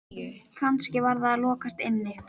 Kannski var það að lokast inni?